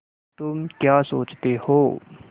तुम क्या सोचते हो